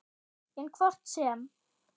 En hvort sem